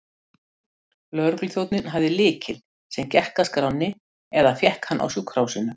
Lögregluþjónninn hafði lykil, sem gekk að skránni, eða fékk hann á sjúkrahúsinu.